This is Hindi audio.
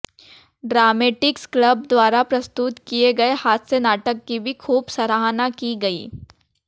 ड्रामेटिक्स क्लब द्वारा प्रस्तुत किए गए हास्य नाटक की भी खूब सराहना की गई